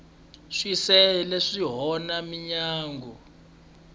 swicele swi onha mindyangu